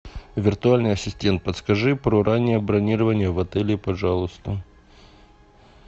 виртуальный ассистент подскажи про раннее бронирование в отеле пожалуйста